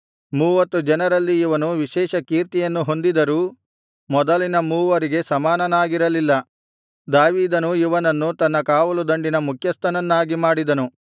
ಮೂವತ್ತು ಜನರಲ್ಲಿ ಇವನು ವಿಶೇಷ ಕೀರ್ತಿಯನ್ನು ಹೊಂದಿದರೂ ಮೊದಲಿನ ಮೂವರಿಗೆ ಸಮಾನನಾಗಿರಲಿಲ್ಲ ದಾವೀದನು ಇವನನ್ನು ತನ್ನ ಕಾವಲುದಂಡಿನ ಮುಖ್ಯಸ್ಥನನ್ನಾಗಿ ಮಾಡಿದನು